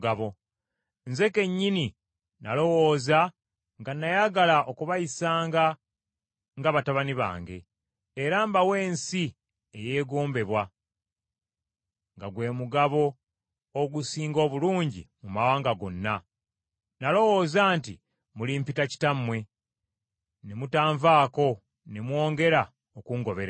“Nze kennyini nalowooza “nga nayagala okubayisanga nga batabani bange, era mbawe ensi eyeegombebwa, nga gwe mugabo ogusinga obulungi mu mawanga gonna. Nalowooza nti mulimpita ‘Kitammwe,’ ne mutanvaako ne mwongera okungoberera.